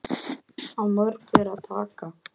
Af mörgu er að taka.